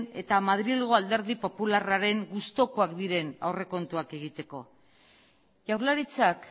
eta madrilgo alderdi popularraren gustukoak diren aurrekontuak egiteko jaurlaritzak